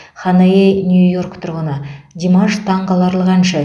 ханаей нью йорк тұрғыны димаш таңқаларлық әнші